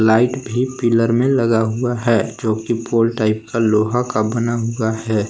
Light भी pillar में लगा हुआ है जो की पोल टाइप का लोहा का बना हुआ है।